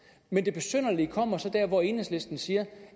men det besynderlige kommer så der hvor enhedslisten siger